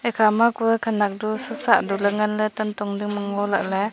ekhama kue khanak du satsah duley nganley tantong dingma ngolah ley.